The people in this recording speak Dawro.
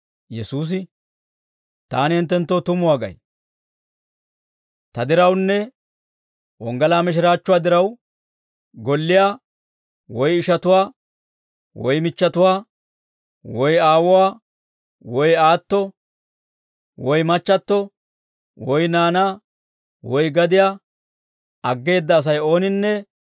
Yesuusi, «Taani hinttenttoo tumuwaa gay; ta dirawunne wonggalaa mishiraachchuwaa diraw, golliyaa woy ishatuwaa woy michchatuwaa, woy aawuwaa woy aatto woy machchatto, woy naanaa woy gadiyaa aggeeda Asay ooninne,